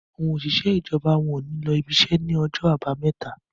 àwọn òṣìṣẹ́ ijọba wón ní ló ibise ní Ọjọ́ Àbàmẹ́ta